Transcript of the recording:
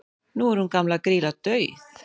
nú er hún gamla grýla dauð